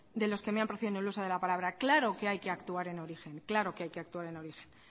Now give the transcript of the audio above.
de los que me ha precedido en el uso de la palabra claro que hay que actuar en origen claro que hay que actuar en origen